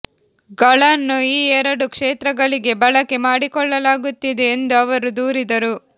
ಗಳನ್ನು ಈ ಎರಡು ಕ್ಷೇತ್ರಗಳಿಗೆ ಬಳಕೆ ಮಾಡಿಕೊಳ್ಳಲಾಗುತ್ತಿದೆ ಎಂದು ಅವರು ದೂರಿದರು